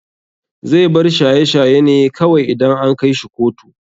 Zai bar shaye shaye ne kawai idan an kaishi kotu.